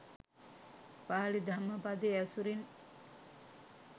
පාලි ධම්මපදය ඇසුරින්